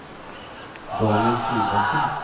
Daniel Solbakken